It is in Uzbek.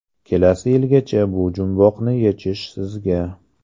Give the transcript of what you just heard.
Kelasi yilgacha bu jumboqni yechish sizga.